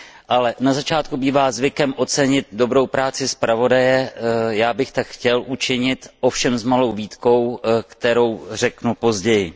Ale na začátku bývá zvykem ocenit dobrou práci zpravodaje, já bych tak chtěl učinit, ovšem s malou výtkou, kterou řeknu později.